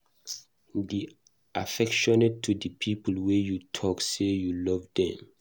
De affectionate to di people wey you talk sey you love